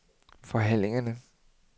forhandlingerne